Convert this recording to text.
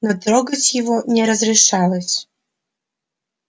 но трогать его не разрешалось